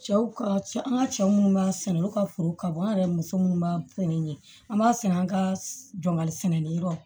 Cɛw ka cɛ an ka cɛ munnu b'a sɛnɛ olu ka foro ka bon an yɛrɛ muso munnu b'a sɛnɛ ɲɛ an b'a sɛnɛ an ka dɔnŋa sɛnɛni yɔrɔ